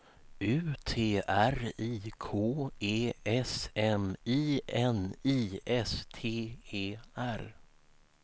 U T R I K E S M I N I S T E R